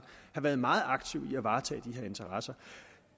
har været meget aktiv med at varetage de her interesser